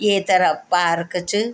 ये तरफ पार्क च।